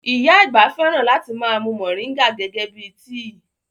Ìyá àgbà fẹ́ràn láti ma mú moringa gẹ́gẹ́ bíi tíì